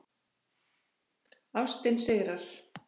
Ástin sigrar